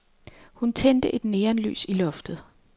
Hun tændte et neonlys i loftet.